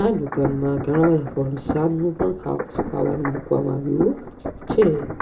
આ દુકાનમાં ઘણા બધા ફરસાનનું પણ ખા ખાવાનું મૂકવામાં આવ્યું છે.